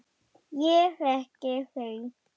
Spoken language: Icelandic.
Ég þekki þau.